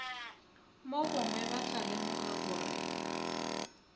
mogongwe ba tla lemoga gore